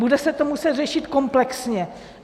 Bude se to muset řešit komplexně.